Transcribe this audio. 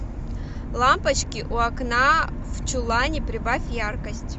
лампочки у окна в чулане прибавь яркость